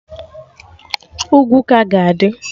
Ugwu ka ga-adị